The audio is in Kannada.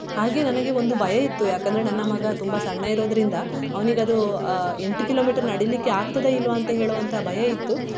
ಹಾಗೆ ನನಗೆ ಒಂದು ಭಯ ಇತ್ತು ಯಾಕಂದ್ರೆ ನನ್ನ ಮಗ ತುಂಬಾ ಸಣ್ಣ ಇರುವುದ್ರಿಂದ ಅವ್ನಿಗದು ಆ ಎಂಟು kilometre ನಡೆಲಿಕ್ಕೆ ಆಗ್ತದಾ ಇಲ್ವ ಅಂತ ಹೇಳುವಂತ ಭಯ ಇತ್ತು.